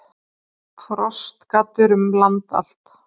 Frostgaddur um land allt